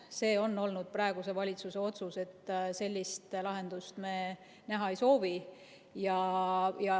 See on olnud praeguse valitsuse otsus, et sellist lahendust me näha ei soovi.